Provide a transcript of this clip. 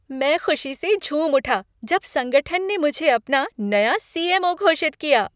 मैं खुशी से झूम उठा जब संगठन ने मुझे अपना नया सी. एम. ओ. घोषित किया।